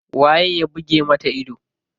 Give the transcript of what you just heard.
Waye ya buge mata ido?